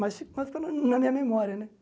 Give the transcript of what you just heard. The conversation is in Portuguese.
Mas fi mas ficou na mi na minha memória, né?